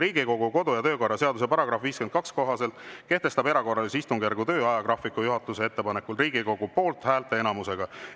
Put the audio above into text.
Riigikogu kodu- ja töökorra seaduse § 52 kohaselt kehtestab erakorralise istungjärgu töö ajagraafiku juhatuse ettepanekul Riigikogu poolthäälte enamusega.